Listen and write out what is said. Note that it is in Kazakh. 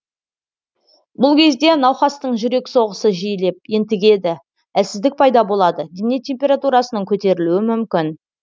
бұл кезде науқастың жүрек соғысы жиілеп ентігеді әлсіздік пайда болады дене температурасының көтерілуі мүмкін